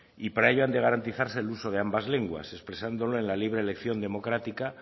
para ello han de garantizarse el uso de ambas lenguas expresándolo en la libre elección democrática